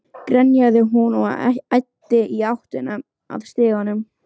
grenjaði hún og æddi í áttina að stiganum.